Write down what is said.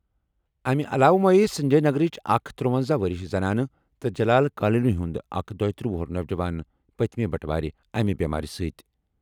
اَمہِ علاوٕ مۄیہ سنجے نگرٕچ اکھ ترٗونزاہ وُہُر زنانہٕ تہٕ جلال کالونی ہُنٛد اکھ دویتٔرہ وُہُر نوجوان پٔتمہِ بٹہٕ وارِ اَمہِ بٮ۪مارِ سۭتۍ۔